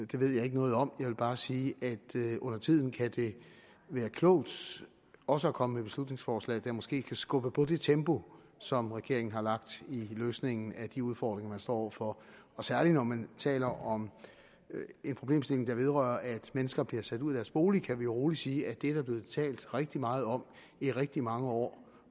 det ved jeg ikke noget om jeg vil bare sige at det undertiden kan være klogt også at komme med beslutningsforslag der måske kan skubbe på det tempo som regeringen har lagt i løsningen af de udfordringer man står over for særlig når man taler om en problemstilling der vedrører at mennesker bliver sat ud af deres bolig kan vi rolig sige at det er der blevet talt rigtig meget om i rigtig mange år